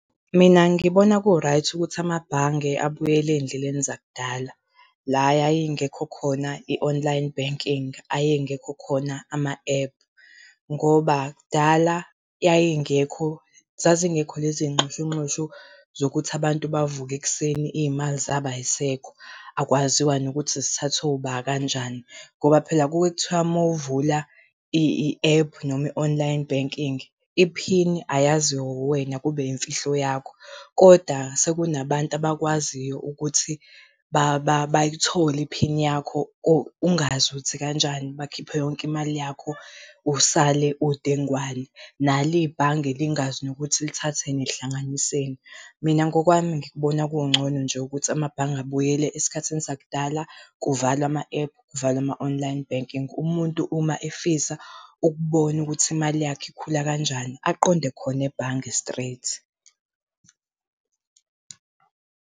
Mina ngibona ku-right ukuthi amabhange abuyele ey'ndleleni zakudala la yayingekho khona i-online banking, ayengekho khona ama-ephu. Ngoba kudala yayingekho, zazingekho lezi y'nxushunxushu zokuthi abantu bavuke ekuseni iy'mali zabo ayisekho akwaziwa nokuthi zithathwe uba, kanjani. Ngoba phela kuke kuthiwa mawuvula i-ephu noma i-online banking iphini ayaziwe wuwena kube yimfihlo yakho. Kodwa sekunabantu abakwaziyo ukuthi bayithole iphini yakho ungazi ukuthi kanjani, bakhiphe yonke imali yakho usale udengwane, nalo ibhange lingazi nokuthi lithathe lihlanganiseni. Mina ngokwami ngikubona kungcono nje ukuthi amabhange abuyele esikhathini sakudala kuvalwe ama-ephu, kuvalwe ama-online banking. Umuntu uma efisa ukubona ukuthi imali yakhe ikhula kanjani, aqonde khona ebhange straight.